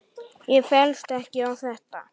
Ég féllst ekki á þetta.